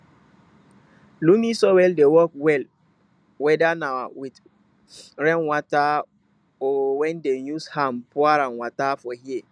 loamy soil dey work well weda na with rain water or wen dem use hand pour am water for here